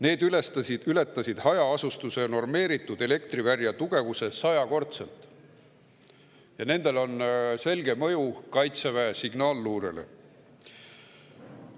Need ületasid hajaasustuse normeeritud elektrivälja tugevuse sajakordselt ja nendel on selge mõju Kaitseväe signaaliluurele.